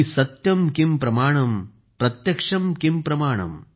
सत्यम किम प्रमाणम प्रत्यक्षम किम प्रमाणम ।